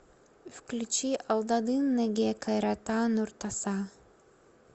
включи алдадын неге кайрата нуртаса